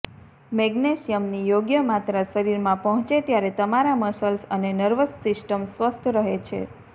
મેગ્નેશિયમની યોગ્ય માત્રા શરીરમાં પહોંચે ત્યારે તમારા મસલ્સ અને નર્વસ સિસ્ટમ સ્વસ્થ રહે છે